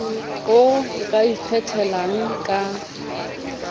oo o ka ikgethelang ka